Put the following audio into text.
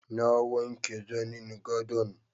Na wanke zanin gadon